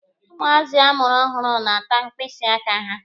Ụmụazị amụrụ ọhụrụ na-ata mkpịsị aka ha.